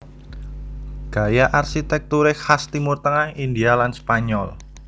Gaya arsitekture khas Timur Tengah India lan Spanyol